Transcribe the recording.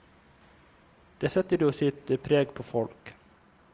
Det setter jo sitt preg på folk.